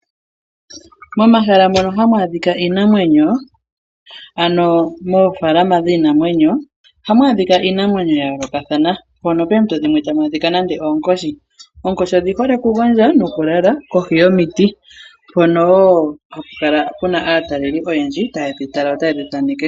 Momahala mono hamu adhika iinamwenyo ano moofalama dhiinamweyo ohamu adhika iinamwenyo ya yoolokathana mono poompito dhimwe tamu adhika nande oonkoshi . Oonkoshi odhi hole okugondja nokulala kohi yomiti mono wo hapu kala pu na aateleli oyendji taye dhi tala yo taye dhi thaneke.